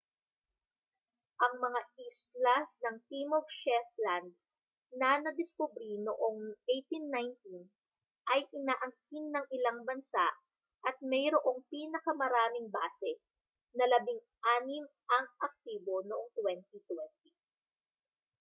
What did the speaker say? ang mga isla ng timog shetland na nadiskubre noong 1819 ay inaangkin ng ilang bansa at mayroong pinakamaraming base na labing-anim ang aktibo noong 2020